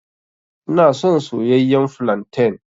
Ina son soyayyen flantain.